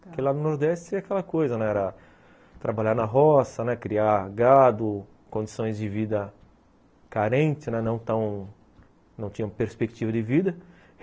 Porque lá no Nordeste era aquela coisa, era trabalhar na roça, criar gado, condições de vida carentes, não tão, não tinham perspectiva de vida.